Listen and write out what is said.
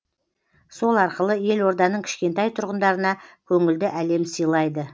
сол арқылы елорданың кішкентай тұрғындарына көңілді әлем сыйлайды